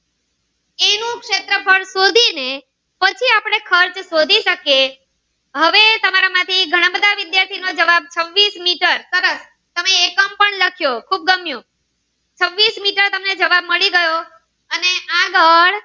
શોધી ને પછી આપણે ખર્ચ શોધી શકીએ હવે તમારા માંથી ઘણા બધા વિદ્યાર્થી નો જવાબ છવ્વીસ મીટર તમે એકમ પણ લખ્યો ખુબ ગમ્યું છવ્વીસ મીટર તમને જવાબ મળી ગયો અને આગળ